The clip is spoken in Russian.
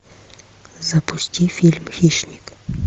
запусти фильм хищник